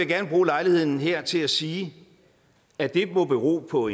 gerne bruge lejligheden her til at sige at det må bero på